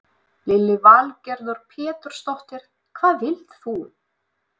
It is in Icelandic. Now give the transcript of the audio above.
Lillý Valgerður Pétursdóttir: Hvað vilt þú?